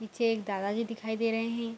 पीछे एक दादाजी दिखाई दे रहे है।